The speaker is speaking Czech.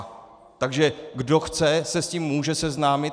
Takže kdo chce, se s tím může seznámit.